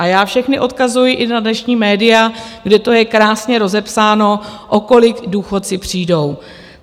A já všechny odkazuji i na dnešní média, kde to je krásně rozepsáno, o kolik důchodci přijdou.